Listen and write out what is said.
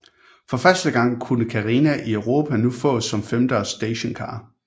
For første gang kunne Carina i Europa nu fås som femdørs stationcar